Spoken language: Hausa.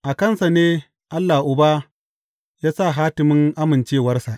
A kansa ne Allah Uba ya sa hatimin amincewarsa.